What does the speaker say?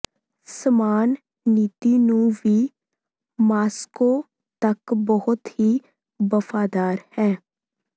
ਸਮਾਨ ਨੀਤੀ ਨੂੰ ਵੀ ਮਾਸ੍ਕੋ ਤੱਕ ਬਹੁਤ ਹੀ ਵਫ਼ਾਦਾਰ ਹੈ